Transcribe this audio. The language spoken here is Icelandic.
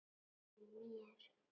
Ekki mér.